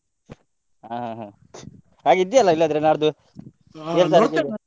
ಹಾ ಹಾಗೆ ಇದ್ದೀಯಲ್ಲಾ ಇಲ್ಲಾದ್ರೆ ನಾಡ್ದು .